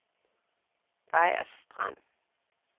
Vejers Strand